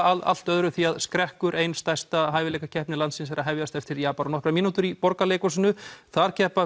allt öðru skrekkur ein stærsta hæfileikakeppni landsins er að hefjast eftir nokkrar mínútur í Borgarleikhúsinu þar keppa